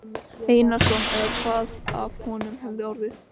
Einarsson eða hvað af honum hefði orðið.